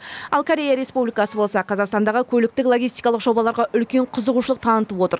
ал корея республикасы болса қазақстандағы көліктік логистикалық жобаларға үлкен қызығушылық танытып отыр